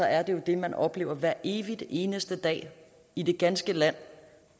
er det jo det man oplever hver evig eneste dag i det ganske land